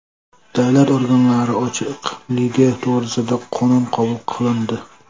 Davlat organlari ochiqligi to‘g‘risida qonun qabul qilindi.